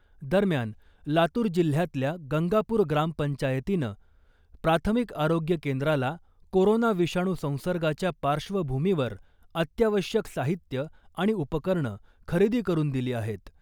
दरम्यान , लातूर जिल्ह्यातल्या गंगापूर ग्रामपंचायतीनं प्राथमिक आरोग्य केंद्राला कोरोना विषाणू संसर्गाच्या पार्श्वभुमीवर अत्यावश्यक साहित्य आणि उपकरणं खरेदी करून दिली आहेत .